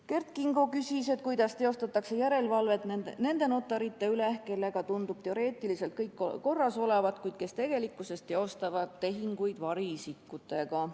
Kert Kingo küsis, kuidas teostatakse järelevalvet nende notarite üle, kellega tundub teoreetiliselt kõik korras olevat, kuid kes tegelikkuses teevad tehinguid variisikutega.